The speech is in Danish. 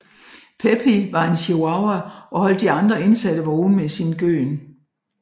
Pepi var en chihuahua og holdt de andre indsatte vågne med sin gøen